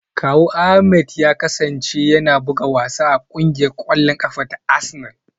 Kawun Ahmed ya kasance yana buga wasa a kungiyar kwallon kafa ta Arsenal.